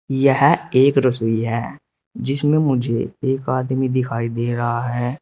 यह एक रसोई है जिसमें मुझे एक आदमी दिखाई दे रहा है।